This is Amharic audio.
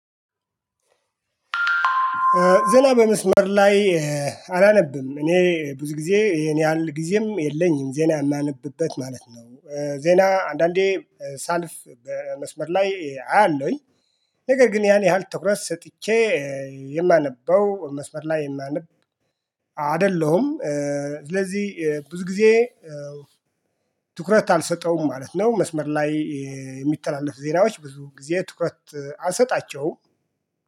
ዜና በመስመር ላይ አላነብም እኔ ብዙ ጊዜ ይሄን ያህል ጊዜም የለኝም ዜና የማነብበት ማለት ነው። ዜና አንዳንዴ ሳልፍ በመስመር ላይ አያለውኝ። ነገር ግን ያን ያህል ትኩረት ሰጥቼ የማነበው መስመር ላይ የማነብ የማንበብ አይደለሁም። ስለዚህ ብዙ ጊዜ ትኩረት አልሰጠውም ማለት ነው። መስመር ላይ የሚተላለፍ ዜናዎች ብዙ ጊዜ ትኩረት አልሰጣቸውም